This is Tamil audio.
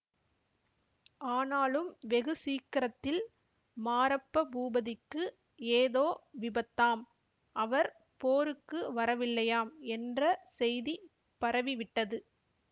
ஆனாலும் வெகு சீக்கிரத்தில் மாரப்ப பூபதிக்கு ஏதோ விபத்தாம் அவர் போருக்கு வரவில்லையாம் என்ற செய்தி பரவிவிட்டது